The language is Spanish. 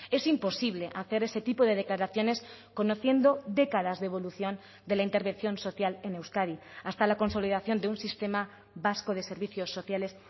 es imposible hacer ese tipo de declaraciones conociendo décadas de evolución de la intervención social en euskadi hasta la consolidación de un sistema vasco de servicios sociales